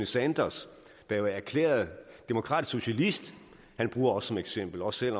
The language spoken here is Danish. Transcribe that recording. sanders der er erklæret demokratisk socialist bruger os som eksempel også